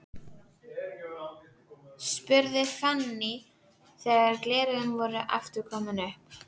spurði Fanný þegar gleraugun voru aftur komin upp.